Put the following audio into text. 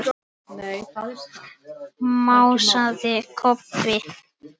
másaði Kobbi.